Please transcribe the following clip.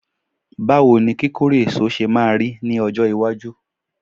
bawo ni kikore eso se maa ri ni ojo iwaju?